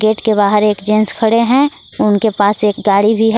Gate के बाहर एक जेन्स खड़े हैं उनके पास एक गाड़ी भी है।